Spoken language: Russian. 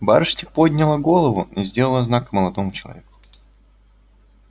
барышня подняла голову и сделала знак молодому человеку